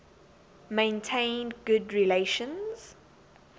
maintained good relations